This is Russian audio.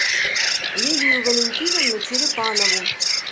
лилию валентиновну черепанову